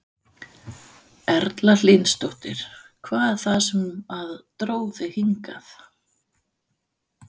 Erla Hlynsdóttir: Hvað er það sem að dró þig hingað?